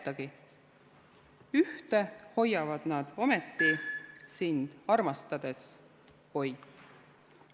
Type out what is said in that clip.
/ Ühte hoiavad nad ometi, / Sind armastades, / Oi!